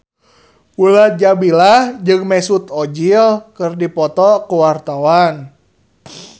Mulan Jameela jeung Mesut Ozil keur dipoto ku wartawan